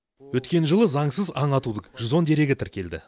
өткен жылы заңсыз аң атудың жүз он дерегі тіркелді